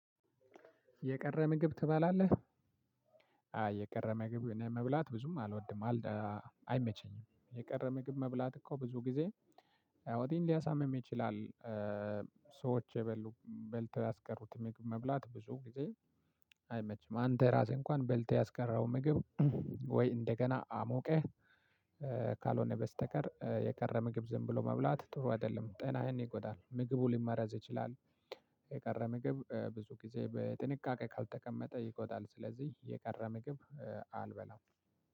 የቀረ ምግብ ትባላለህ? አይ የቀረ ምግብ መብላት እኔ ብዙም አልወድም። አይመቸኝም የቀረ ምግብ መብላት እኮ ብዙ ጊዜ ሆዲህን ሊያሳምም ይችላል። ሰዎች የበሉ በልተው ያስቀሩት ምግብ መብላት ብዙ ጊዜ አይመችም። አንተ ራስህ እንኳን በልተህ ያስቀረኽው ምግብ ወይ እንደገና አሞቀህ። ካልሆነ በስተቀር የቀረ ምግብ ዝም ብሎ መብላት ጥሩ አይደለም ጤናህን ይጎዳል ምግቡ ሊመረዝ ይችላል። የቀረ ምግብ ብዙ ጊዜ በጥንቃቄ ካልተቀመጠ ይጎዳል። ስለዚህ የቀረ ምግብ አልበላም።